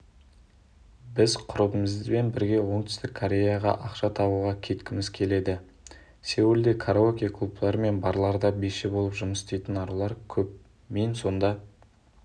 біз құрбымызбен бірге оңтүстік кореяға ақша табуға кеткіміз келеді сеулде караоке-клубтар мен барларда биші болып жұмыс істейтін арулар көп мен сонда